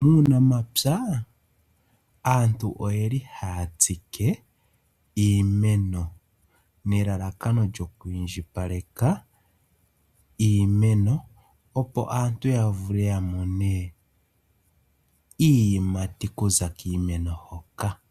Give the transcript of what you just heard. Uunamapya aantu oye li haya tsike iimeno nelalakano lyo ku indjipaleka iimeno, opo aantu ya vule ya mone iiyimati okuza kiimeno hoka.